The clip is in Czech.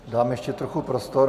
Dám ještě trochu prostor.